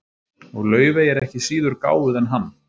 og laufey er ekki síður gáfuð en hann